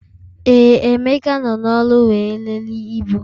Ee, Emeka nọ n'ọrụ wee lelee ibu